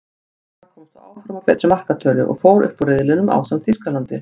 Gana komst þó áfram á betri markatölu, og fór upp úr riðlinum ásamt Þýskalandi.